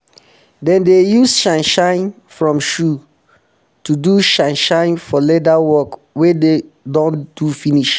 dem dey use shine shine from stone to do shine shine for leather work wey dey don do finish